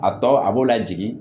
A tɔ a b'o lajigi